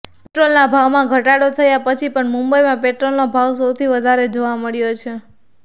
પેટ્રોલના ભાવમાં ઘટાડો થયા પછી પણ મુંબઈમાં પેટ્રોલનો ભાવ સૌથી વધારે જોવા મળ્યો છે